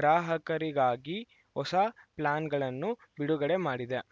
ಗ್ರಾಹಕರಿಗಾಗಿ ಹೊಸ ಪ್ಲಾನ್‌ಗಳನ್ನು ಬಿಡುಗಡೆ ಮಾಡಿದೆ